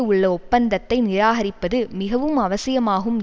உள்ள ஒப்பந்தத்தை நிராகரிப்பது மிகவும் அவசியமாகும்